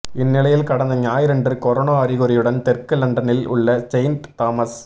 இந்நிலையில் கடந்த ஞாயிறன்று கொரோனா அறிகுறியுடன் தெற்கு லண்டனில் உள்ள செயிண்ட் தாமஸ்